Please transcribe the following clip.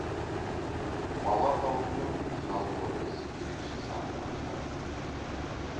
бала атаулының жаз болады десе ерекше сағынатыны бүлдірген